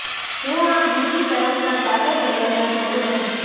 હું આ બીજી તરફના ગાઢા જંગલમાં જતો રહીશ